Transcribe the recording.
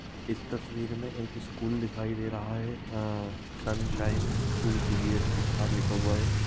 इस तस्वीर में एक स्कूल दिखाई दे रहा है अ- सनशाइन स्कूल सी_बी_एस_सी बाहर लिखा हुआ है।